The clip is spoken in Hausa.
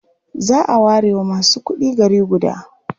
A whole city may be reserved for only the rich.